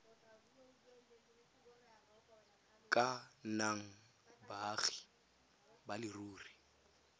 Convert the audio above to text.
ka nnang baagi ba leruri